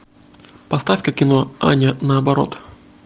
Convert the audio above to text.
поставь ка кино аня наоборот